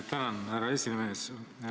Tänan, härra esimees!